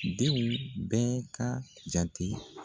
Denw bɛɛ ka jate.